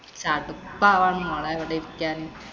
ചടുപ്പാവാ മോളെ ഇവിടിരിക്കാന്‍.